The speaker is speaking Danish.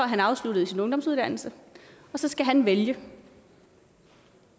han afsluttet sin ungdomsuddannelse og så skal han vælge